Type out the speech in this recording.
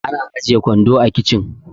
ana ajiye kwando a kicin